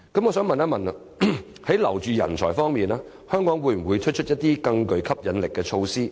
我想問，在留住人才方面，香港會否推出一些更具吸引力的措施？